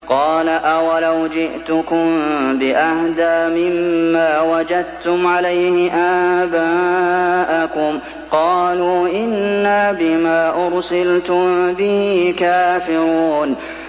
۞ قَالَ أَوَلَوْ جِئْتُكُم بِأَهْدَىٰ مِمَّا وَجَدتُّمْ عَلَيْهِ آبَاءَكُمْ ۖ قَالُوا إِنَّا بِمَا أُرْسِلْتُم بِهِ كَافِرُونَ